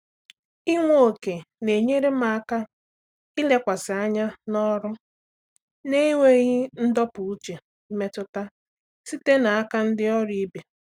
Ịnwe ókè na-enyere m aka ilekwasị anya n’ọrụ na-enweghị ndọpụ uche mmetụta site n’aka ndị ọrụ ibe.